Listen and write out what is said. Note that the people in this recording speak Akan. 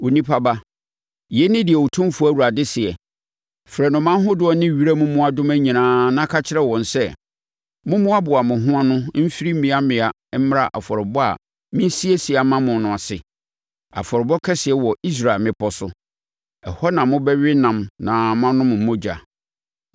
“Onipa ba, yei ne deɛ Otumfoɔ Awurade seɛ: Frɛ nnomaa ahodoɔ ne wiram mmoadoma nyinaa na ka kyerɛ wɔn sɛ, ‘Mommoaboa mo ho ano mfiri mmeammea mmra afɔrebɔ a meresiesie ama mo no ase, afɔrebɔ kɛseɛ wɔ Israel mmepɔ so. Ɛhɔ na mobɛwe ɛnam na moanom mogya.